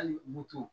Hali moto